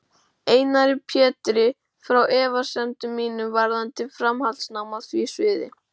Einari Pétri frá efasemdum mínum varðandi framhaldsnám á því sviði.